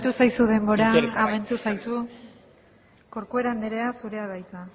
zaizu denbora agortu zaizu corcuera andrea zurea da hitza